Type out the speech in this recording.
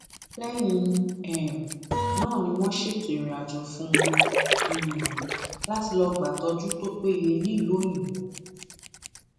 lẹyìn um náà ni wọn ṣètò ìrìnàjò fún un um láti lọọ gbàtọjú tó péye nílùú òyìnbó